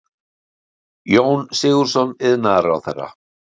Jón Sigurðsson iðnaðarráðherra.